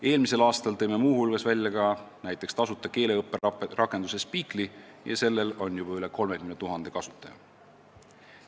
Eelmisel aastal tõime muu hulgas välja tasuta keeleõpperakenduse Speakly ja sellel on juba üle 30 000 kasutaja.